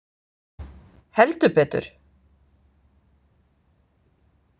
Heldur betur!